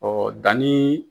Ɔ danni